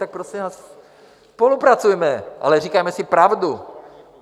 Tak prosím vás, spolupracujme, ale říkáme si pravdu.